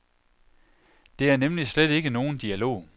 Det er nemlig slet ikke nogen dialog.